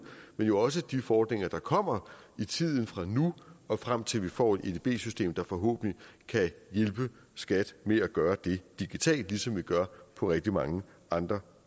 men jo også de fordringer der kommer i tiden fra nu og frem til at vi får et edb system der forhåbentlig kan hjælpe skat med at gøre det digitalt ligesom vi gør på rigtig mange andre